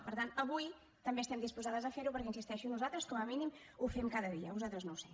per tant avui també estem disposades a fer ho perquè hi insisteixo nosaltres com a mínim ho fem cada dia vosaltres no ho sé